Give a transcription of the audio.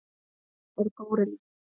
Hann er górilla.